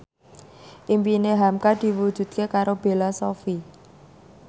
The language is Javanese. impine hamka diwujudke karo Bella Shofie